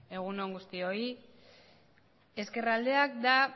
egun on guztioi ezkerraldea da